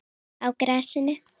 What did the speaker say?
Á grasinu?